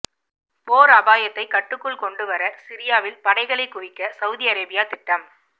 போர் அபாயத்தை கட்டுக்குள் கொண்டு வர சிரியாவில் படைகளைக் குவிக்க சவுதி அரேபியா திட்டம்